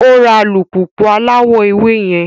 O ra alupupu alawọ ewé yẹn